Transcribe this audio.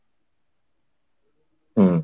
ହୁଁ